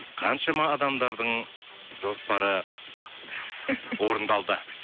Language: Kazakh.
қаншама адамдардың жоспары орындалды